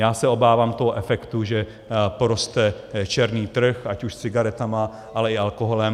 Já se obávám toho efektu, že poroste černý trh, ať už s cigaretami, ale i alkoholem.